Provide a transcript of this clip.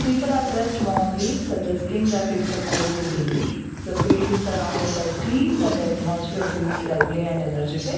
People are dressed warmly suggesting that it's a cold day the field is surrounded by trees and the atmosphere feels lively and energetic.